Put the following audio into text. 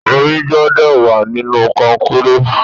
Omi gbúdọ̀ wà nínú konkéré.